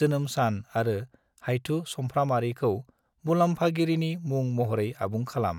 जोनोम सान आरो हाइथु चामफ्रामारिखौ मुलाम्फागिरिनि मुं महरै आबुं खालाम।